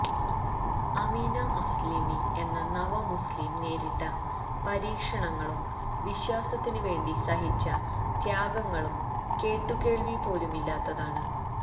Ameena Assilmi എന്ന നവമുസ്ലിം നേരിട്ട പരീക്ഷണങ്ങളും വിശ്വാസത്തിനുവേണ്ടി സഹിച്ച ത്യാഗങ്ങളും കേട്ടുകേള്വി പോലുമില്ലാത്തതാണ്